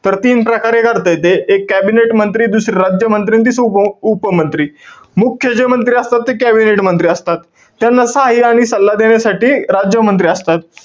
तर तीन प्रकार एक अर्थय ते. एक cabinet मंत्री, दुसरा राज्य मंत्री आणि तिसरा उप~ उप मंत्री. मुख्य जे मंत्री असतात ते, cabinet मंत्री असतात. त्यांना सहाय्य्य आणि सल्ला देण्यासाठी राज्य मंत्री असतात.